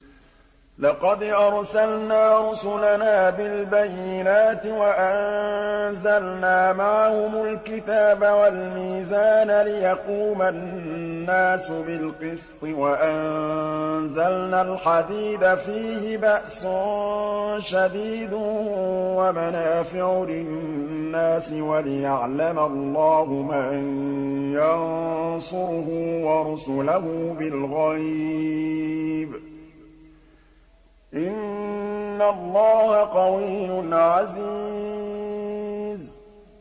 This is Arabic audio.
لَقَدْ أَرْسَلْنَا رُسُلَنَا بِالْبَيِّنَاتِ وَأَنزَلْنَا مَعَهُمُ الْكِتَابَ وَالْمِيزَانَ لِيَقُومَ النَّاسُ بِالْقِسْطِ ۖ وَأَنزَلْنَا الْحَدِيدَ فِيهِ بَأْسٌ شَدِيدٌ وَمَنَافِعُ لِلنَّاسِ وَلِيَعْلَمَ اللَّهُ مَن يَنصُرُهُ وَرُسُلَهُ بِالْغَيْبِ ۚ إِنَّ اللَّهَ قَوِيٌّ عَزِيزٌ